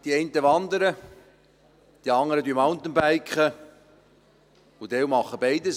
Die einen wandern, die andern mountainbiken und manche machen beides.